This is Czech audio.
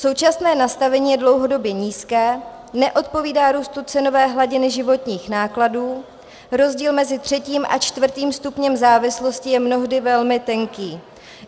Současné nastavení je dlouhodobě nízké, neodpovídá růstu cenové hladiny životních nákladů, rozdíl mezi třetím a čtvrtým stupněm závislosti je mnohdy velmi tenký.